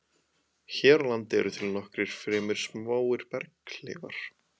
Hér á landi eru til nokkrir fremur smáir berghleifar.